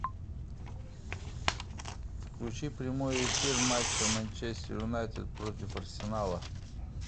включи прямой эфир матча манчестер юнайтед против арсенала